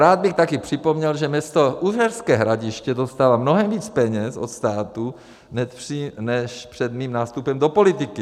Rád bych také připomněl, že město Uherské Hradiště dostává mnohem víc peněz od státu než před mým nástupem do politiky.